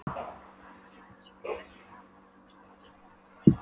Ummál hægra læris var merkjanlega minna en þess vinstra.